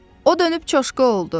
O dönüb çoşqa oldu.